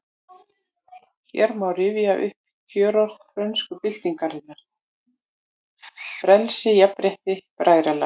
Hér má rifja upp kjörorð frönsku byltingarinnar: Frelsi, jafnrétti, bræðralag